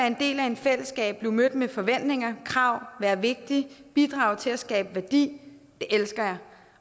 en del af et fællesskab blive mødt med forventninger og krav være vigtig og bidrage til at skabe værdi elsker jeg